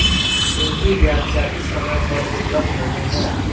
इनकी व्याख्या इस समय पर उपलब्ध नहीं है